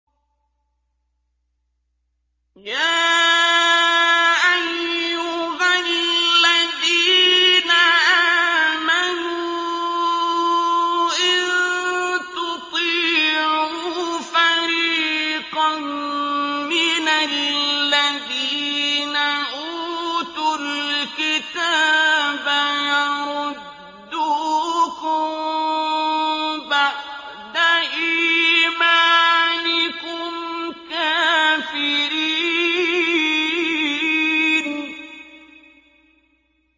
يَا أَيُّهَا الَّذِينَ آمَنُوا إِن تُطِيعُوا فَرِيقًا مِّنَ الَّذِينَ أُوتُوا الْكِتَابَ يَرُدُّوكُم بَعْدَ إِيمَانِكُمْ كَافِرِينَ